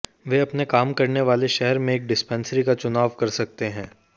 वे अपने काम करने वाले शहर में एक डिस्पेंसरी का चुनाव कर सकते हैं